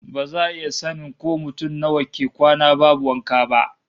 Ba za a iya sanin ko mutum nawa ke kwana babu wanka ba